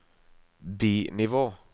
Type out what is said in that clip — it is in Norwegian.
bi-nivå